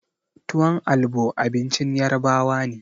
Tuwon albo abincin Yarbawa ne.